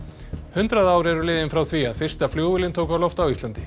hundrað ár eru liðin frá því að fyrsta flugvélin tók á loft á Íslandi